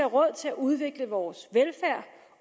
råd til at udvikle vores velfærd